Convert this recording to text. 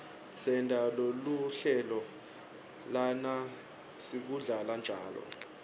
sente luhlelo lalesikudlako njalo